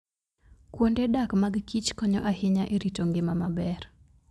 Kuonde dak mag kich konyo ahinya e rito ngima maber.